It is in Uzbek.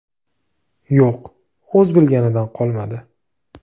Yo‘q, o‘z bilganidan qolmadi.